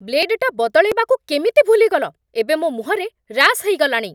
ବ୍ଲେଡ଼୍‌ଟା ବଦଳେଇବାକୁ କେମିତି ଭୁଲିଗଲ? ଏବେ ମୋ' ମୁହଁରେ ରାସ୍ ହେଇଗଲାଣି!